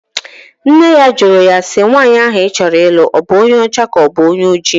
Nne ya jụrụ ya si, nwaanyị ahụ ị chọrọ ịlụ ọ bụ onye ọcha ka ọ bụ onye oji?